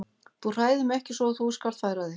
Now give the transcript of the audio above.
Þú hræðir mig ekki svo þú skalt færa þig.